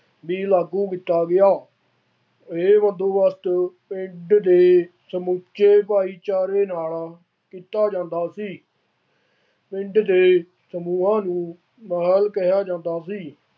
ਵੀ ਲਾਗੂ ਕੀਤਾ ਗਿਆ। ਇਹ ਬੰਦੋਬਸਤ ਪਿੰਡ ਦੇ ਸਮੁੱਚੇ ਭਾਈਚਾਰੇ ਨਾਲ ਕੀਤਾ ਜਾਂਦਾ ਸੀ ਪਿੰਡ ਦੇ ਸਮੂਹਾਂ ਨੂੰ ਨਾਲ ਕਿਹਾ ਜਾਂਦਾ ਸੀ।